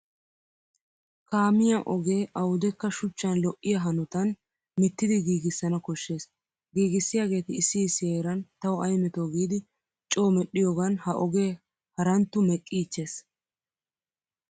Kaamiya ogee awudekka shuchchan lo'iya hanotan mittidi giigissana koshshes. Giigissiyaageeti issi issi heeran tawu ay metoo giidi coo medhdhiyogan ha ogee haranttu meqqiichches.